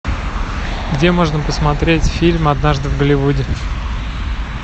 где можно посмотреть фильм однажды в голливуде